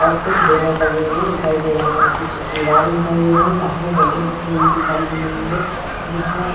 और कुछ बैनर लगे हुए दिखाई दे रहे हैं। कुछ दीवार दिखाई दे रही है। सामने टेबल रखी हुई दिखाई दे रही है। बीच में --